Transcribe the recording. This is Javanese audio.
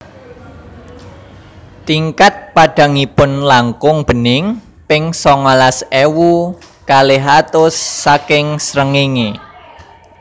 Tingkat padhangipun langkung bening ping songolas ewu kalih atus saking srengenge